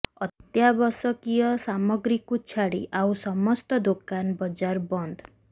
ଅତ୍ୟାବଶକୀୟ ସାମଗ୍ରୀକୁ ଛାଡି ଆଉ ସମସ୍ତ ଦୋକାନ ବଜାର ବନ୍ଦ